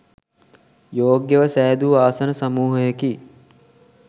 යෝග්‍යව සෑදූ ආසන සමූහයකි.